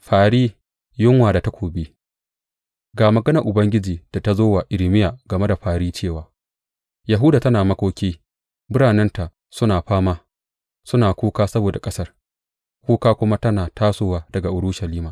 Fari, yunwa da takobi Ga maganar Ubangiji da ta zo wa Irmiya game da fări cewa, Yahuda tana makoki biranenta suna fama; suna kuka saboda ƙasar, kuka kuma tana tasowa daga Urushalima.